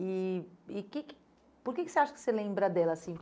E e que que por que que você acha que você lembra dela assim?